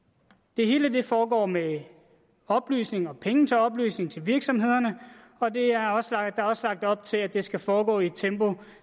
det hele foregår med oplysning og med penge til oplysning til virksomhederne og der er også lagt også lagt op til at det skal foregå i et tempo